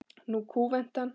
Nú kúventi hann.